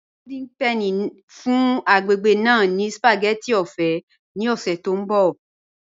Golden Penny n fún agbègbè ná ní spagétì ọ̀fẹ̀ ni ọ̀ṣẹ̀ tó nbọ̀